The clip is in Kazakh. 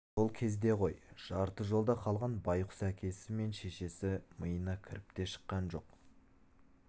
сол кезде ғой жарты жолда қалған байғұс әкесі мен шешесі миына кіріп те шыққан жоқ